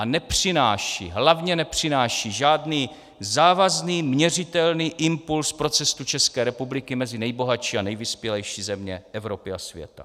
A nepřináší, hlavně nepřináší žádný závazný měřitelný impuls pro cestu České republiky mezi nejbohatší a nejvyspělejší země Evropy a světa.